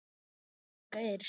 Drífa Pálín Geirs.